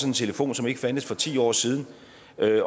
en telefon som ikke fandtes for ti år siden